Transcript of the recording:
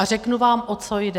A řeknu vám, o co jde.